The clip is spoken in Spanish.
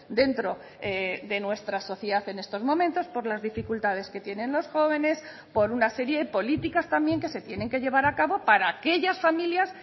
dentro de nuestra sociedad en estos momentos por las dificultades que tienen los jóvenes por una serie de políticas también que se tienen que llevar a cabo para aquellas familias